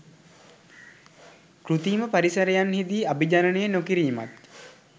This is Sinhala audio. කෘතිම පරිසරන්හිදී අභිජනනය නොකිරීමත්